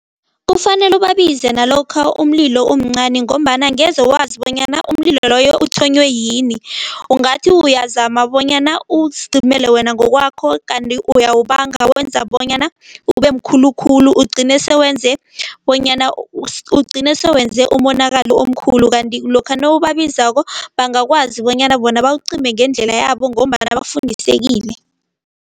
Kufanele ubabize nalokha umlilo umncani ngombana angeze wazi bonyana umlilo loyo uthonywe yini. Ungathi uyazama bonyana uzicimele wena ngokwakho kanti uyawubanga, uwenza bonyana ubemkhulu khulu. Ugcine sowenze bonyana, ugcine sewenze umonakalo omkhulu, kanti lokha nawubabizako bangakwazi bonyana bona bawucime ngendlela yabo ngombana bafundisekile.